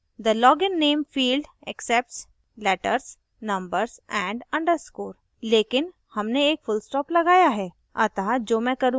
यह बताता है कि the login name field accepts letters numbers & underscore लेकिन हमने एक फुलस्टॉप लगाया है